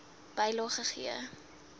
bylae c gegee